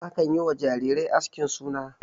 Akan yi wa jarirai askin suna.